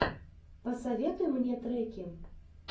посоветуй мне треки